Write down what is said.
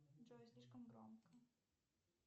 джой слишком громко